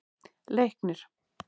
Leiknir